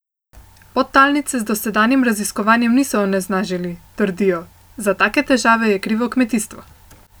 Podtalnice z dosedanjim raziskovanjem niso onesnažili, trdijo, za take težave je krivo kmetijstvo.